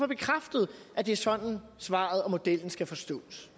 bekræftet at det er sådan svaret og modellen skal forstås